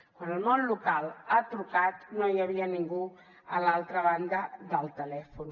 quan el món local ha trucat no hi havia ningú a l’altra banda del telèfon